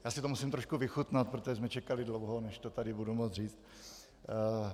Já si to musím trošku vychutnat, protože jsme čekali dlouho, než to tady budu moct říct.